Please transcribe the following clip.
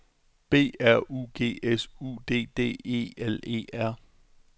B R U G S U D D E L E R